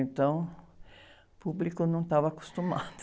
Então, o público não estava acostumado.